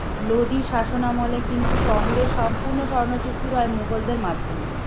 লোদী শাসনামলে কিন্তু শহরে সম্পূর্ণ স্বর্ণ চুচুরায় মুঘলদের মাধ্যমে।